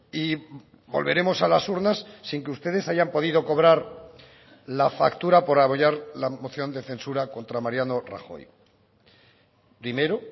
y volveremos a las urnas sin que ustedes hayan podido cobrar la factura por apoyar la moción de censura contra mariano rajoy primero